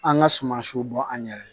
An ka sumansiw bɔ an yɛrɛ ye